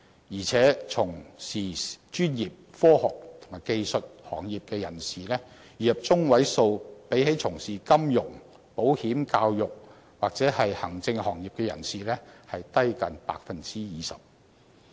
而且，從事專業、科學及技術行業的人士，月入中位數比起從事金融、保險、教育及行政行業的人士低近 20%。